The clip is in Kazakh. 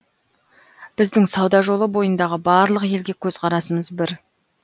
біздің сауда жолы бойындағы барлық елге көзқарасымыз бір